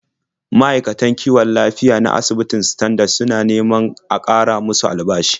Ma'aikatan kiwon lafiya na asibitin Standard suna neman a ƙara musu albashi.